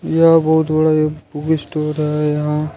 यह बहुत बड़ा बुक स्टोर है यहां।